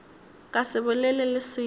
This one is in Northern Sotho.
ka se bolele le selo